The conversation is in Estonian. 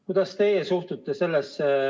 Kuidas teie sellesse suhtute?